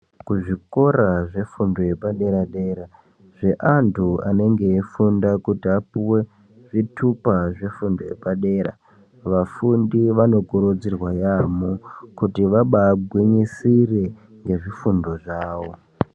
Kuzvikora zvefundo yepadera-dera zveantu anenge aifunda kuti apu we zvitupa zvefundo yepadera. Vafundi vanokurudzirwa yaamho kuti vabagwinyisire ngezvifundo zvavo.